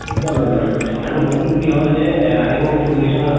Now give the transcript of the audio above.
এক্দম এক্দম। আৰু বস্তু টো কি হল যে এহ আমি মানে কি কৰিছো ন